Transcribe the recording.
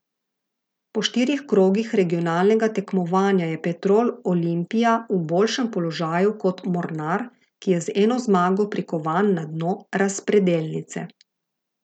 Po štirih krogih regionalnega tekmovanja je Petrol Olimpija v boljšem položaju kot Mornar, ki je z eno zmago prikovan na dno razpredelnice.